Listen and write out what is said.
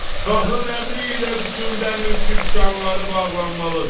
Şahın əmri ilə bütün dəmirçi dükanları bağlanmalıdır!